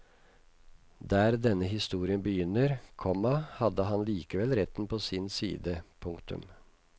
Der denne historien begynner, komma hadde han likevel retten på sin side. punktum